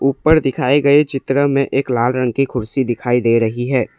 ऊपर दिखाए गए चित्र में एक लाल रंग की कुर्सी दिखाई दे रही है।